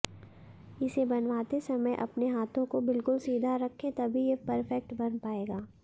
इसे बनवाते समय अपने हाथों को बिलकुल सीधा रखें तभी ये परफैक्ट बन पाएगा